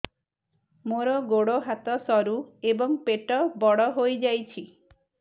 ମୋର ଗୋଡ ହାତ ସରୁ ଏବଂ ପେଟ ବଡ଼ ହୋଇଯାଇଛି